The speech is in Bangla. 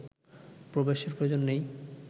প্রবেশের প্রয়োজন নেই